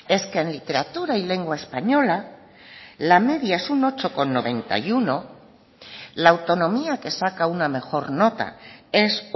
es que en literatura y lengua española la media es un ocho coma noventa y uno la autonomía que saca una mejor nota es